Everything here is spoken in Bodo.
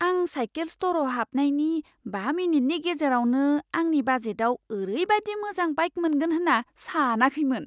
आं साइकेल स्ट'रआव हाबनायनि बा मिनिटनि गेजेरावनो आंनि बाजेटआव ओरैबादि मोजां बाइक मोनगोन होन्ना सानाखैमोन!